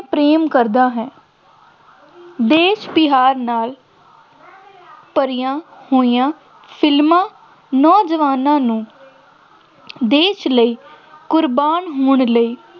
ਪ੍ਰੇਮ ਕਰਦਾ ਹੈ, ਦੇਸ਼ ਪਿਆਰ ਨਾਲ ਭਰੀਆਂ ਹੋਈਆਂ ਫਿਲਮਾਂ ਨੌਜਵਾਨਾਂ ਨੂੰ ਦੇਸ਼ ਲਈ ਕੁਰਬਾਨ ਹੋਣ ਲਈ